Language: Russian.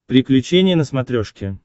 приключения на смотрешке